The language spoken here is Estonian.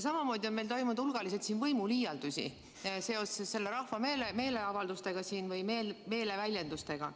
Samamoodi on meil toimunud hulgaliselt võimuliialdusi seoses rahva meeleavalduste või meeleväljendustega.